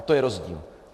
A to je rozdíl.